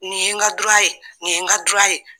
Nin ye n ka dura ye ,nin ye n ka dura ye.